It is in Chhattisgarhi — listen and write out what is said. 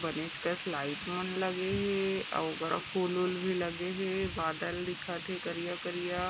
बनेच कस लाईट मन लगे हे अउ उकरा फूल -उल भी लगे हे बादल दिखत हे करिया -करिया--